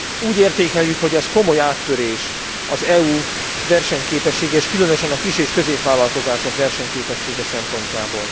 Úgy értékeljük, hogy ez komoly áttörés az EU versenyképessége és különösen kis és középvállalkozások versenyképessége szempontjából.